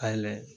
A yɛlɛ